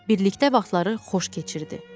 Birlikdə vaxtları xoş keçirdi.